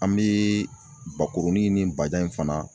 An mi bakurunin ni bajan in fana